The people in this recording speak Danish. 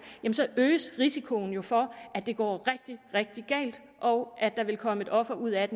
øges risikoen jo for at det går rigtig rigtig galt og at der vil komme et offer ud af